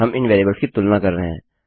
हम इन वेरिएबल्स की तुलना कर रहे हैं